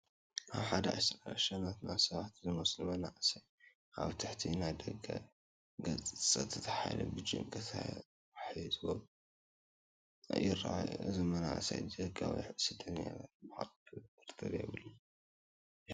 ኣብ ሓደ ኣዳራሽ ናትና ሰባት ዝመስሉ መናእሰይ ኣብ ትሕቲ ናይ ደገ ፀጥታ ሓይሊ ብጭንቂ ተዋሒጦም ይርአዩ ኣለዉ፡፡ እዞም መናእሰይ ዘይሕጋዊ ስተደኛታት ንምዃኖም ጥርጥር የብሉን፡፡ የሕዝን፡፡